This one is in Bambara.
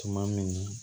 Tuma min